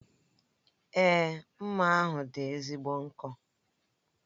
Èé, mma ahụ dị ezigbo nkọ.